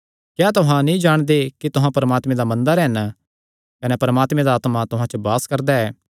क्या तुहां नीं जाणदे कि तुहां परमात्मे दा मंदर हन कने परमात्मे दा आत्मा तुहां च वास करदा ऐ